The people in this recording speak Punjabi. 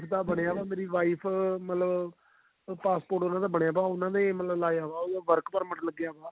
ਦਾ ਬਣਿਆ ਹੋਇਆ ਵੀ ਮੇਰੀ wife ਮਤਲਬ passport ਉਹਨਾ ਦਾ ਬਣਿਆ ਪਿਆ ਉਹਨਾ ਨੇ ਮਤਲਬ ਲਾਇਆ ਹੋਇਆ ਮਤਲਬ work ਪੇਰ੍ਮਿਤ ਲੱਗਿਆ ਹੋਇਆ